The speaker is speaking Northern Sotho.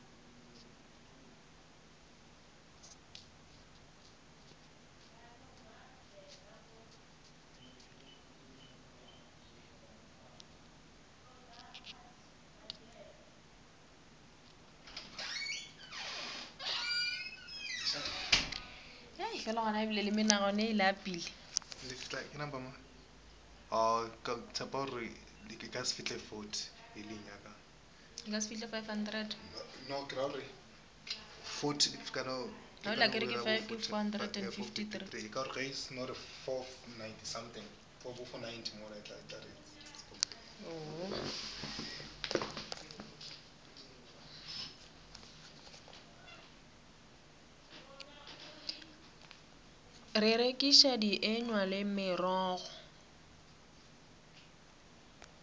go rekiša dienywa le merogo